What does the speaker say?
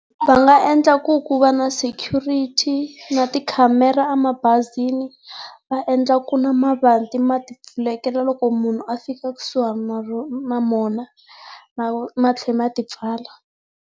Va nga endla ku ku va na security na ti khamera emabazini va endla ku na mavanti ma ti pfulekela loko munhu a fika kusuhana na na mona, ma tlhe ma ti pfala.